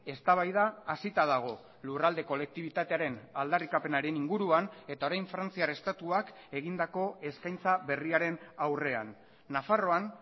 eztabaida hasita dago lurralde kolektibitatearen aldarrikapenaren inguruan eta orain frantziar estatuak egindako eskaintza berriaren aurrean nafarroan